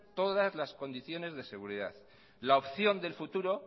todas las condiciones de seguridad la opción del futuro